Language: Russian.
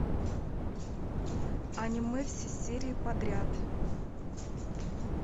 аниме все серии подряд